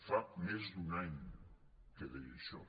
fa més d’un any que deia això